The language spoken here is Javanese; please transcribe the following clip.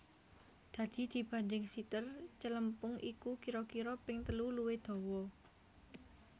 Dadi dibanding siter celempung iku kira kira ping telu luwih dawa